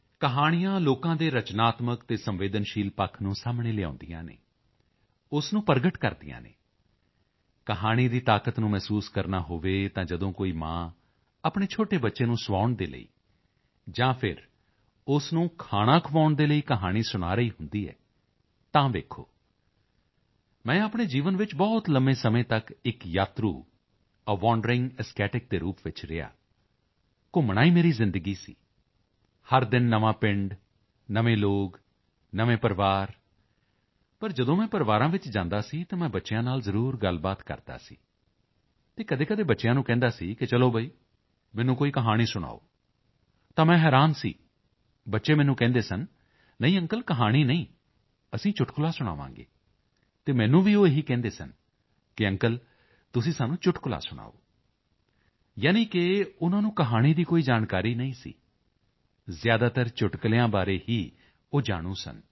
ਕਹਾਣੀਆਂ ਲੋਕਾਂ ਦੇ ਰਚਨਾਤਮਕ ਅਤੇ ਸੰਵੇਦਨਸ਼ੀਲ ਪੱਖ ਨੂੰ ਸਾਹਮਣੇ ਲਿਆਉਂਦੀਆਂ ਹਨ ਉਸ ਨੂੰ ਪ੍ਰਗਟ ਕਰਦੀਆਂ ਹਨ ਕਹਾਣੀ ਦੀ ਤਾਕਤ ਨੂੰ ਮਹਿਸੂਸ ਕਰਨਾ ਹੋਵੇ ਤਾਂ ਜਦੋਂ ਕੋਈ ਮਾਂ ਆਪਣੇ ਛੋਟੇ ਬੱਚੇ ਨੂੰ ਸੁਆਉਣ ਦੇ ਲਈ ਜਾਂ ਫਿਰ ਉਸ ਨੂੰ ਖਾਣਾ ਖੁਆਉਣ ਦੇ ਲਈ ਕਹਾਣੀ ਸੁਣਾ ਰਹੀ ਹੁੰਦੀ ਹੈ ਤਾਂ ਦੇਖੋ ਮੈਂ ਆਪਣੇ ਜੀਵਨ ਵਿੱਚ ਬਹੁਤ ਲੰਬੇ ਸਮੇਂ ਤੱਕ ਇੱਕ ਯਾਤਰੂ ਏ ਵਾਂਡਰਿੰਗ ਅਸੈਟਿਕ ਦੇ ਰੂਪ ਵਿੱਚ ਰਿਹਾ ਘੁੰਮਣਾ ਹੀ ਮੇਰੀ ਜ਼ਿੰਦਗੀ ਸੀ ਹਰ ਦਿਨ ਨਵਾਂ ਪਿੰਡ ਨਵੇਂ ਲੋਕ ਨਵੇਂ ਪਰਿਵਾਰ ਪਰ ਜਦੋਂ ਮੈਂ ਪਰਿਵਾਰਾਂ ਵਿੱਚ ਜਾਂਦਾ ਸੀ ਤਾਂ ਮੈਂ ਬੱਚਿਆਂ ਨਾਲ ਜ਼ਰੂਰ ਗੱਲਬਾਤ ਕਰਦਾ ਸੀ ਅਤੇ ਕਦੇਕਦੇ ਬੱਚਿਆਂ ਨੂੰ ਕਹਿੰਦਾ ਸੀ ਕਿ ਚਲੋ ਬਈ ਮੈਨੂੰ ਕੋਈ ਕਹਾਣੀ ਸੁਣਾਓ ਤਾਂ ਮੈਂ ਹੈਰਾਨ ਸੀ ਬੱਚੇ ਮੈਨੂੰ ਕਹਿੰਦੇ ਸਨ ਨਹੀਂ ਅੰਕਲ ਕਹਾਣੀ ਨਹੀਂ ਅਸੀਂ ਚੁਟਕਲਾ ਸੁਣਾਵਾਂਗੇ ਅਤੇ ਮੈਨੂੰ ਵੀ ਉਹ ਇਹ ਹੀ ਕਹਿੰਦੇ ਸਨ ਕਿ ਅੰਕਲ ਤੁਸੀਂ ਸਾਨੂੰ ਚੁਟਕਲਾ ਸੁਣਾਓ ਯਾਨੀ ਕਿ ਉਨ੍ਹਾਂ ਨੂੰ ਕਹਾਣੀ ਦੀ ਕੋਈ ਜਾਣਕਾਰੀ ਨਹੀਂ ਸੀ ਜ਼ਿਆਦਾਤਰ ਚੁਟਕਲਿਆਂ ਬਾਰੇ ਹੀ ਉਹ ਜਾਣੂ ਸਨ